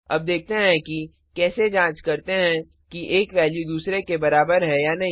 अब देखते हैं कि कैसे जांच करते हैं कि एक वैल्यू दूसरे के बराबर है या नहीं